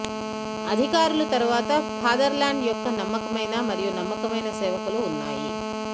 అధికారులు తరువాత ఫాదర్ల్యాండ్ యొక్క నమ్మకమైన మరియు నమ్మకమైన సేవకులు ఉన్నాయి